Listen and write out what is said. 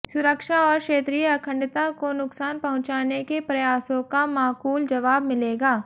सुरक्षा और क्षेत्रीय अखंडता को नुकसान पहुंचाने के प्रयासों का माकूल जवाब मिलेगा